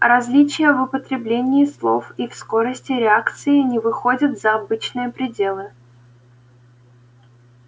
различия в употреблении слов и в скорости реакции не выходят за обычные пределы